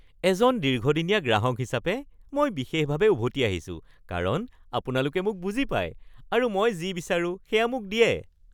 এজন দীৰ্ঘদিনীয়া গ্ৰাহক হিচাপে, মই বিশেষভাৱে উভতি আহিছোঁ কাৰণ আপোনালোকে মোক বুজি পায় আৰু মই যি বিচাৰোঁ সেয়া মোক দিয়ে